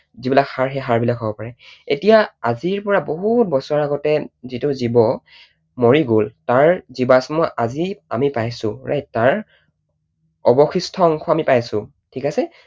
যিবিলাক হাড় সেই হাড়বিলাক হব পাৰে। এতিয়া আজিৰ পৰা বহুত বছৰ আগতে যিটো জীৱ মৰি গল তাৰ জীৱাশ্ম আজি আমি পাইছো right? তাৰ অৱশিষ্ট অংশ আমি পাইছো, ঠিক আছে?